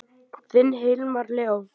Þinn Hilmar Leó.